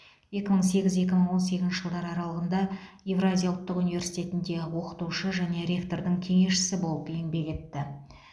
екі мың сегіз екі мың он сегізінші жылдар аралығында евразия ұлттық университетінде оқытушы және ректордың кеңесшісі болып еңбек етті